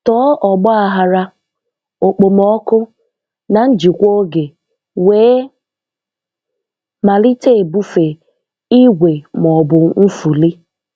Tọọ ọgbaghara, Okpomọọkụ, na njikwa oge, wee malite ebufe, igwe ma ọ bụ nfuli.